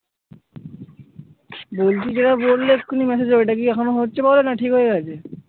বলছি যেটা বললে এক্ষুনি massage এ ওইটা কি এখনো হচ্ছে problem? না ঠিক হয়ে গেছে?